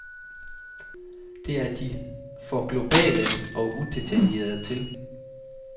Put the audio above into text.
Det er de for globale og udetaljerede til.